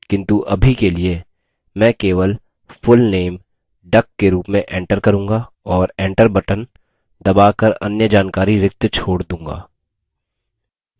किन्तु अभी के लिए मैं key full name duck के रूप में enter करूँगा और enter बटन दबा कर अन्य जानकारी रिक्त छोड़ दूँगा